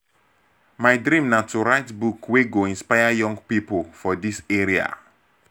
my dream na to write book wey go inspire young pipo for dis area.